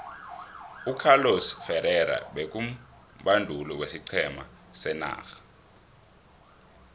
ucarlos ferrerra beku mbonduli wesiqhema senarha